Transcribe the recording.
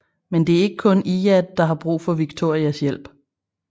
Men det er ikke kun Iyad der har brug for Victorias hjælp